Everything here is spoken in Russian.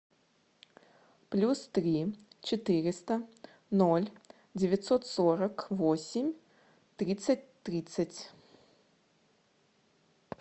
плюс три четыреста ноль девятьсот сорок восемь тридцать тридцать